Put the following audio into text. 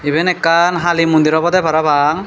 eben ekkan hali mondir obode parapang.